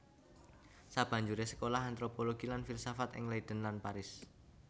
Sabanjuré sekolah antropologi lan filsafat ing Leiden lan Paris